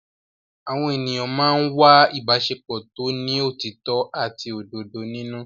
Àwọn ènìyàn máa ń wá ìbáṣepọ̀ tó ní òtítọ́ àti òdodo nínú.